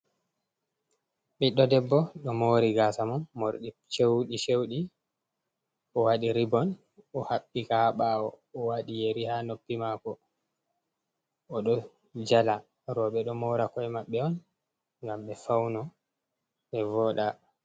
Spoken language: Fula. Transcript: Biddo debbo do mori gasa mako mordi cewdi-cewdi, o wadi ribon o habbika ha ɓawo, o wadi yeri ha noppi mako o do jala. Robe ɗo mora ko’e maɓɓe on ngam ɓe fauno ɓe voɗa.